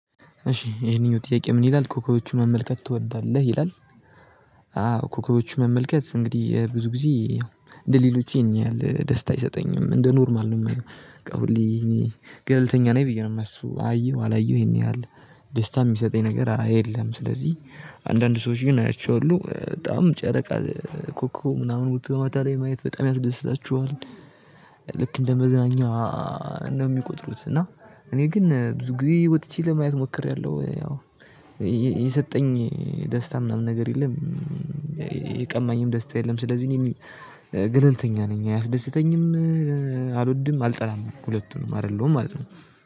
እሺ ይሄንኛው ጥያቄ ምን ይላል ኮከቦቹን መመልከት ትወዳለህ ይላል? አዎ ኮከቦቹን መመልከት እንግዲህ ብዙ ጊዜ እንደሌሎች ይሄን ያህል ደስታ አይሰጠኝም እንደ ኖርማል ነው የማየው ገልተኛ ነኝ ብዬ ነው የማስበው አየሁ አላየሁ ይሄን ያህል ደስታ የሚሰጠኝ ነገር የለም። ስለዚህ አንዳንድ ሰዎች ግን አያቸው በጣም ጨረቃ ኮኮብ ምናምን ወጥቶ ማታ ላይ ማየት በጣም ያስደስታቸዋል። ልክ እንደ መዝናኛ ነው የሚቆጥሩት እና እኔ ግን ብዙ ጊዜ ወጥቼ ለማየት ሞክሬያለሁ። ያው የሰጠኝ ደስታ ምናምን ነገር የለም። የቀማኝም ደስታ የለም ስለዚህ ገለልተኛ ነኝ አያስደስተኝም። አልወድም አልጠላም ሁለቱንም አይደለሁም ማለት ነው